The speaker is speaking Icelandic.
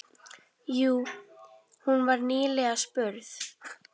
Jú, hún var nýlega spurð.